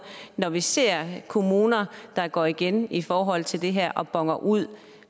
når vi ser kommuner der går igen i forhold til det her og boner ud